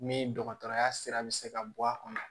Ni dɔgɔtɔrɔya sira bɛ se ka bɔ a kɔnɔ